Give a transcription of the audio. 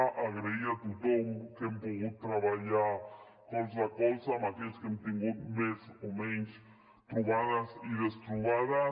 donar les gràcies a tothom amb qui hem pogut treballar colze a colze a aquells amb qui hem tingut més o menys trobades i destrobades